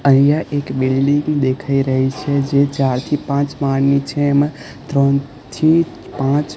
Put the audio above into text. અહીંયા એક બિલ્ડીંગ દેખાય રહી છે જે ચાર થી પાંચ માળની છે એમા ત્રણ થી પાંચ--